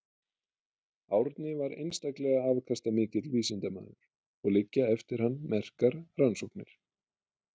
Árni var einstaklega afkastamikill vísindamaður og liggja eftir hann merkar rannsóknir.